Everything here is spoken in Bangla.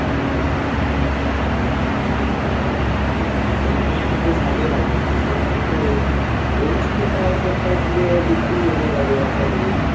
হ্যাঁ তো মোটামুটি বেশ আগেই লাগিয়ে ছিলিস তবে হ্যাঁ তবে এই এ মাসে তো প্রায়ই তোর তাও তোর পুরো বিক্রি হয়ে যাবে আশা করি